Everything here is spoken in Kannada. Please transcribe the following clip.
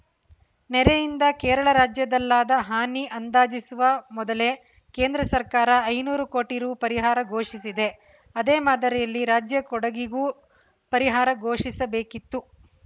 ನೆರೆಯಿಂದ ಕೇರಳ ರಾಜ್ಯದಲ್ಲಾದ ಹಾನಿ ಅಂದಾಜಿಸುವ ಮೊದಲೇ ಕೇಂದ್ರ ಸರ್ಕಾರ ಐನೂರು ಕೋಟಿ ರು ಪರಿಹಾರ ಘೋಷಿಸಿದೆ ಅದೇ ಮಾದರಿಯಲ್ಲಿ ರಾಜ್ಯ ಕೊಡಗಿಗೂ ಪರಿಹಾರ ಘೋಷಿಸಬೇಕಿತ್ತು